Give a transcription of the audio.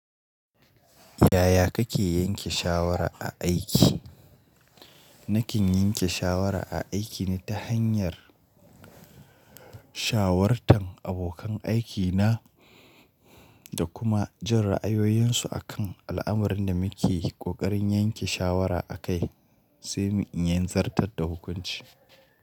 Yaya kake yanke shawara a aiki? Nakin yanke shawara a aiki ne ta hanyar shawartan abokan aikina da kuma jin ra'ayoyinsu akan al'amurin da muke ƙoƙarin yanke shawara akai, sai mu in yanzarta da hukunci.